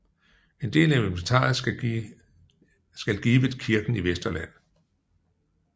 En del af inventaret skal givet kirken i Vesterland